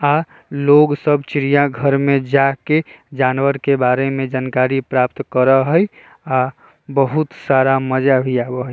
आ लोग सब चिड़िया घर में जाके जानवर के बारे में जानकारी प्राप्त करा हेय आ बहुत सारा मजा भी आबा हेय।